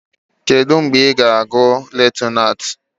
Kedu mgbe ị ga-abụ lutenanti?